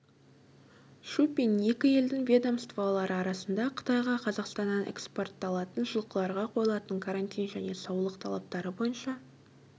шупин екі елдің ведомстволары арасында қытайға қазақстаннан экспортталатын жылқыларға қойылатын карантин және саулық талаптары бойынша